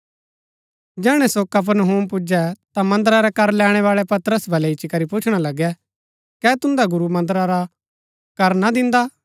जैहणै सो कफरनहूम पुजै ता मन्दरा रै कर लैणैवाळै पतरस बलै इच्ची करी पुछणा लगै कै तुन्दा गुरू मन्दरा रा कर ना दिन्दा